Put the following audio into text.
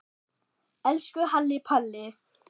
Elsku Halli Palli.